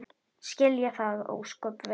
Skil ég það ósköp vel.